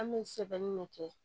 An bɛ sɛbɛnni de kɛ